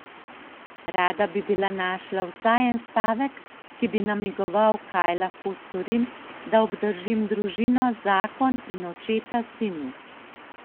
Rada bi bila našla vsaj en stavek, ki bi namigoval, kaj lahko storim, da obdržim družino, zakon in očeta sinu.